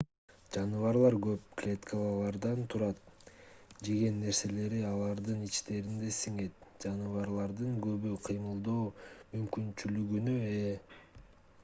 жаныбарлар көп клеткалардан турат жеген нерселери алардын ичтеринде сиңет жаныбарлардын көбү кыймылдоо мүмкүнчүлүгүнө ээ